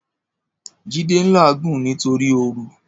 Jide n láàgún nitóri óòrú